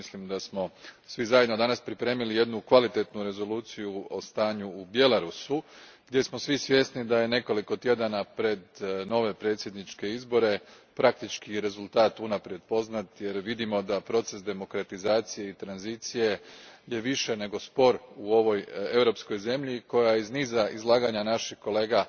Mislim da smo svi zajedno danas pripremili jednu kvalitetnu rezoluciju o stanju u Bjelarusu, gdje smo svi svjesni da je nekoliko tjedana pred nove predsjedničke izbore rezultat praktički unaprijed poznat, jer vidimo da je proces demokratizacije i tranzicije više nego spor u ovoj europskoj zemlji, koja iz niza izlaganja naših kolega